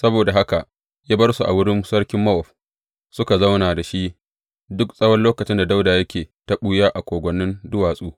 Saboda haka ya bar su a wurin sarkin Mowab, suka zauna da shi duk tsawon lokacin da Dawuda yake ta ɓuya a kogwannin duwatsu.